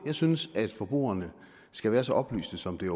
synes at forbrugerne skal være så oplyste som det